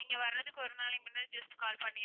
நீங்க வருறதுக்கு ஒரு நாளை முன்ன just call பண்ணிருங்க